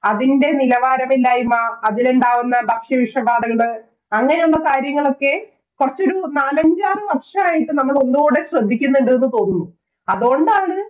അതിന്‍റെ നിലവാരമില്ലായ്മ, അതിലുണ്ടാകുന്ന ഭക്ഷ്യ വിഷബാധകള്, അങ്ങനെയുള്ള കാര്യങ്ങളൊക്കെ കൊറച്ചൂടി നാലഞ്ചാറ് വര്‍ഷമായി നമ്മള് ഒന്നൂടെ ശ്രദ്ധിക്കുന്നുണ്ട് എന്ന് തോന്നുന്നു. അതോണ്ടാണ്,